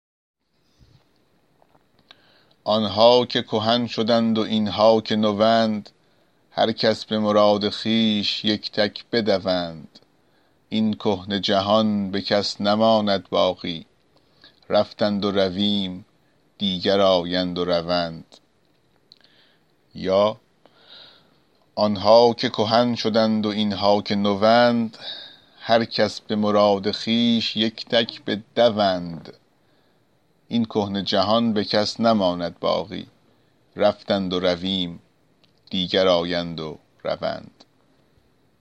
آن ها که کهن شدند و این ها که نوند هر کس به مراد خویش یک تک بدوند این کهنه جهان به کس نماند باقی رفتند و رویم و دیگر آیند و روند